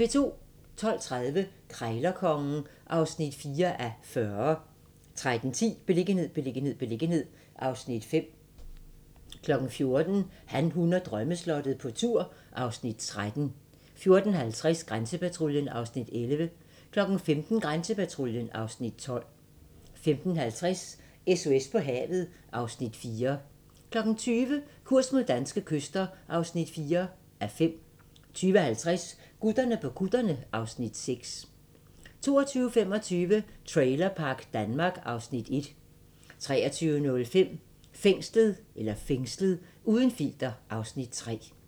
12:30: Krejlerkongen (4:40) 13:10: Beliggenhed, beliggenhed, beliggenhed (Afs. 5) 14:00: Han, hun og drømmeslottet - på tur (Afs. 13) 14:50: Grænsepatruljen (Afs. 11) 15:20: Grænsepatruljen (Afs. 12) 15:50: SOS på havet (Afs. 4) 20:00: Kurs mod danske kyster (4:5) 20:50: Gutterne på kutterne (Afs. 6) 22:25: Trailerpark Danmark (Afs. 1) 23:05: Fængslet - uden filter (Afs. 3)